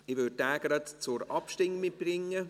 Ich würde diesen gleich zur Abstimmung bringen.